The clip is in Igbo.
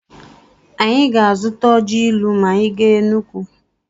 Anyị ga-azụta ọji ilu ma anyị gaa Enugwu.